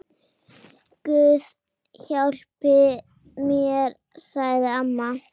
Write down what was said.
Guð hjálpi mér, sagði amma.